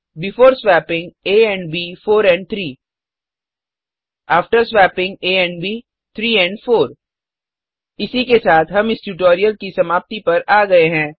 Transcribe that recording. before swapping a and b 4 and 3 after swapping a and b 3 and 4 इसी के साथ हम इस ट्यूटोरियल की समाप्ति पर आ गए हैं